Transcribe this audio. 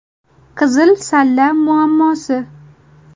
Qizil salla muammosi.